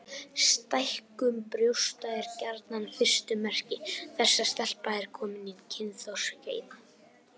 Stækkun brjósta er gjarnan fyrstu merki þess að stelpa er komin á kynþroskaskeið.